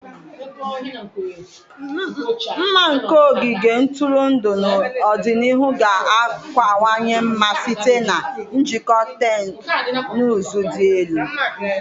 Mma nke ogige ntụrụndụ n'ọdịnihu ga-akawanye mma site na ijikọ teknụzụ dị elu.